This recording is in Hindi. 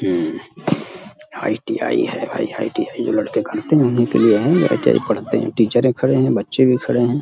आई.टी.आई. है। आई.आई.टी. है जो लड़के करते हैं उन्हीं के लिए हैं। ये आई.टी.आई. पढ़ते हैं। टीचरें एक खड़े हैं। बच्चे भी खड़े हैं।